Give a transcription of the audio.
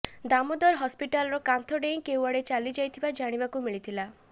ଦାମୋଦର ହସ୍ପିଟାଲର କାନ୍ଥ ଡେଇଁ କେଉଁଆଡେ ଚାଲିଯାଇଥିବା ଜାଣିବାକୁ ମିଳିଥିଲା